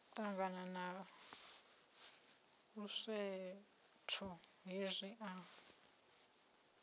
ṱangana na luswetho hezwi a